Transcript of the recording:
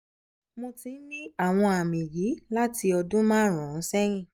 mo ti ń ní àwọn àmì yìí láti ọdún márùn-ún sẹ́yìn